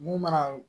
Mun mana